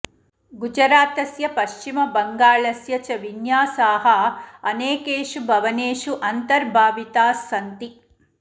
गुजरातस्य पश्चिमबङ्गालस्य च विन्यासाः अनेकेषु भवनेषु अन्तर्भाविताह् सन्ति